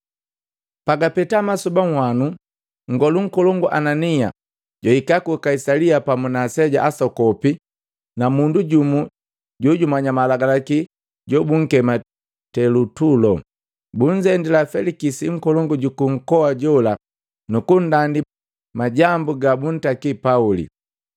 Pagapeta masoba nhanu, nngolu nkolongu Anania jwahika ku Kaisalia pamu na aseja asokopi na mundu jumu jojumanya malagalaki jobunkema Telutulo. Bunzendila Felikisi nkolongu ju nkoa jola nukundandi majambu gabuntakili Pauli.